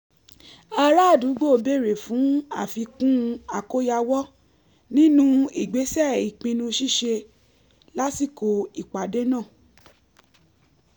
ara àdúgbò béèrè fún àfikún àkóyawọ̀ nínú ìgbésẹ̀ ìpinnu ṣíṣe lásìkò ìpàdé náà